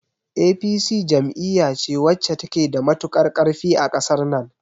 APC jam'iya ce wacce ta ke da matukar ƙarfi a ƙasar nan